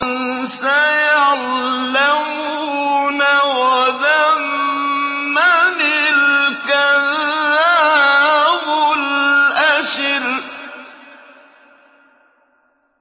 سَيَعْلَمُونَ غَدًا مَّنِ الْكَذَّابُ الْأَشِرُ